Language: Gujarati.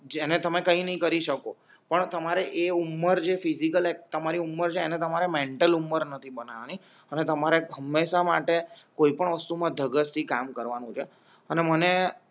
જેને તમે કઈ નહી કરી શકો પણ તમારે એ ઉમર જે ફિજિકલ તમારી ઉમર છે એને તમારે મેન્ટલ ઉમર નથી બનવા ની અને તમારે હંમેશા માટે કોઈ પણ વસ્તુમા ધગર થી કામ કરવા નું છે અને મને